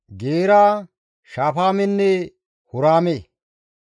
Geera, Shafaamenne Huraame.